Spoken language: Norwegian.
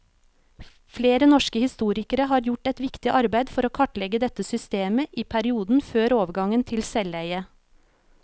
Flere norske historikere har gjort et viktig arbeid for å kartlegge dette systemet i perioden før overgangen til selveie.